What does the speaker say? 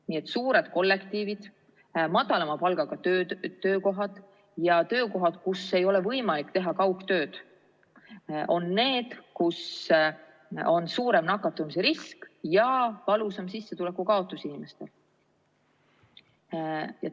Nii et suured kollektiivid, madalama palgaga töökohad ja töökohad, kus ei ole võimalik teha kaugtööd, on need, kus on suurem nakatumisrisk ja valusam sissetuleku kaotus inimestel.